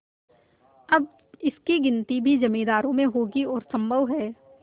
अब इनकी गिनती भी जमींदारों में होगी और सम्भव है